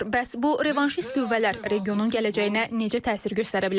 Bəs bu revanşist qüvvələr regionun gələcəyinə necə təsir göstərə bilər?